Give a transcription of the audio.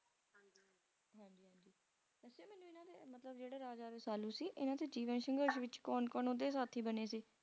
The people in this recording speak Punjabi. ਵੈਸੇ ਮੈਨੂੰ ਇਹਨਾਂ ਦੇ ਜਿਹੜੇ Raja Rasalu ਸੀ ਇਹਨਾਂ ਦੇ ਜੀਵਨ ਸੰਘਰਸ਼ ਵਿੱਚ ਕੌਣ ਕੌਣ ਓਹਦੇ ਸਾਥੀ ਬਣੇ ਸੀ